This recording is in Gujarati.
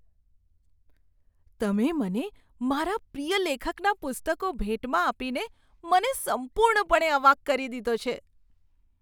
તમે મને મારા પ્રિય લેખકના પુસ્તકો ભેટમાં આપીને મને સંપૂર્ણપણે અવાક કરી દીધો છે!